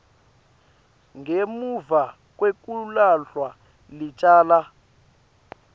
ngemuva kwekulahlwa licala